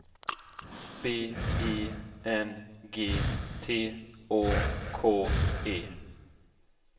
B E N G T Å K E